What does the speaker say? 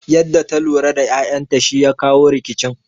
Yanda ta lura da ƴaƴan ta shi ya kawo rikicin